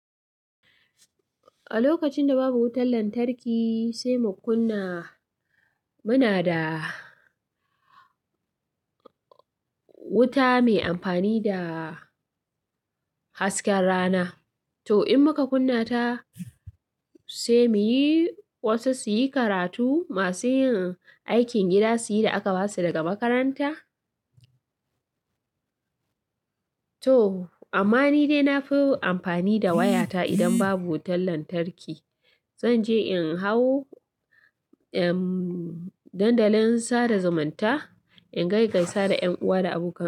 A lokacin da babu wutar lantarki sai mu kunna, muna da wuta mai amfani da hasken rana. To in muka kunna ta sai muyi wasu suyi karatu, masu yin aikin gida suyi da aka basu daga makaranta. To amma ni dai nafi amfani da wayata idan babu wutar lantarki. Zanje in hau, emm, dandalin sada zumunta in gaigaisa da 'yan uwa da abokai.